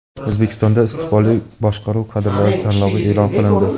O‘zbekistonda istiqbolli boshqaruv kadrlari tanlovi e’lon qilindi.